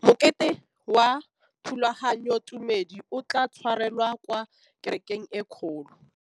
Mokete wa thulaganyôtumêdi o tla tshwarelwa kwa kerekeng e kgolo.